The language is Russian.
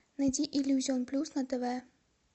найди иллюзион плюс на тв